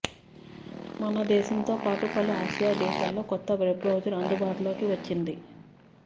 మనదేశంతో పాటు పలు ఆసియా దేశాల్లో కొత్త వెబ్ బ్రౌజర్ అందుబాటులోకి వచ్చింది